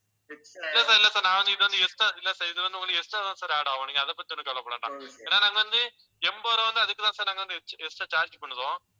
இல்லை sir இல்லை sir நான் வந்து இது வந்து extra இல்லை sir இது வந்து உங்களுக்கு extra தான் sir add ஆகும். நீங்க அதைப் பத்தி ஒண்ணும் கவலைப்பட வேண்டாம் ஏன்னா நாங்க வந்து எண்பது ரூபாய் வந்து அதுக்குத்தான் sir நாங்க வந்து extra charge பண்ணுறோம்.